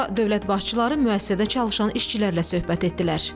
Sonra dövlət başçıları müəssisədə çalışan işçilərlə söhbət etdilər.